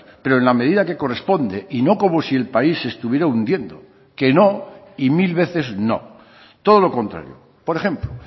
pero en la medida que corresponde y no como si el país se estuviera hundiendo que no y mil veces no todo lo contrario por ejemplo